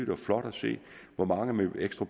var flot at se hvor mange ekstra